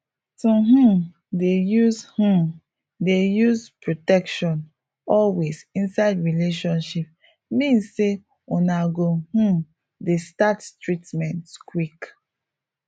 to um dey use um dey use protection always inside relationship mean say una go um dey start treatment quick